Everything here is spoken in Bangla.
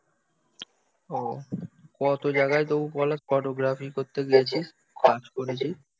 ও কত জায়গায় তবু বলে ফটোগ্রাফি করতে গেছি, কাজ করেছি